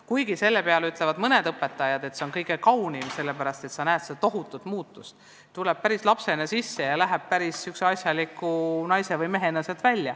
Kuigi selle peale ütlevad mõned õpetajad, et see on kõige kaunim osa tööst, sest sa näed seda tohutut muutust: ta tuleb kooli lapsena ja läheb sealt välja päris asjaliku naise või mehena.